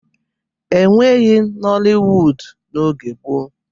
E nweghi noliwudu n'oge gboo.